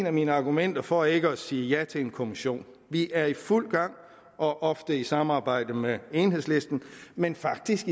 af mine argumenter for ikke at sige ja til en kommission vi er i fuld gang og ofte i samarbejde med enhedslisten men faktisk